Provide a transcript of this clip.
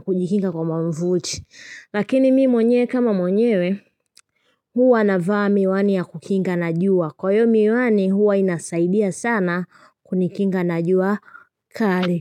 kujikinga kwa mwavuli. Lakini mimi mwenyewe kama mwenyewe huwa navaa miwani ya kukinga na jua. Kwa hiyo miwani huwa inasaidia sana kunikinga na jua kali.